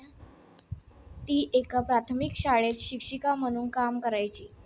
ती एका प्राथमिक शाळेत शिक्षिका म्हणून काम करायची.